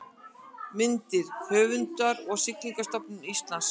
Myndir: Höfundur og Siglingastofnun Íslands